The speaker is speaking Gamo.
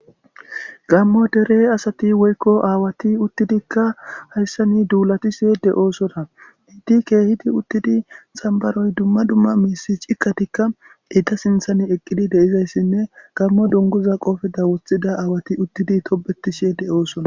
Gammo dere asati woykko aawati uttidikka hayssa ni duulati see de oosona hiti keehidi uttidi xambaroy dumma dumma miisi cikkatikka ita sinthan eqqidi deizayssinne gammo dunguza qoofeda wothida aawati uttidi tobeti shee de oosona